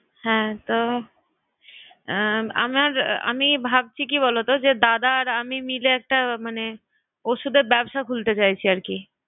হ্যা। তো আহ আমার আমি ভাবছি কি বলতো যে দাদা আর আমি মিলে একটা মানে ঔষুধের ব্যবসা খুলতে চাইছি আর কি।